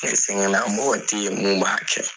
sɛgɛn na mɔgɔ tɛ ye min b'a kɛ.